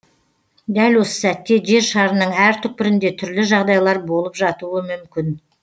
дәл осы сәтте жер шарының әр түкпірінде түрлі жағдайлар болып жатуы мүмкін